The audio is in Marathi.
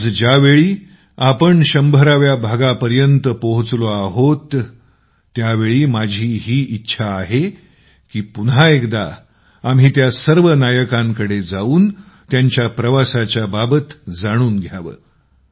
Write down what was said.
आज जेव्हा आम्ही १०० व्या भागाच्या मुक्कामापर्यंत पोहचलो आहोत ते माझी ही इच्छा आहे की पुन्हा एकदा आम्ही त्या सर्व नायकांकडे जाऊन त्यांच्या प्रवासाच्या बाबत जाणून घ्यावं